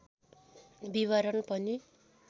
विवरण पनि